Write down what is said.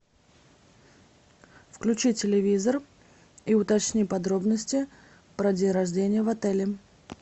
включи телевизор и уточни подробности про день рождения в отеле